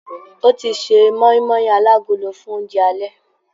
Ọ́ ti ṣe mọ́ímọ́í alágolo fún oúnjẹ alẹ́.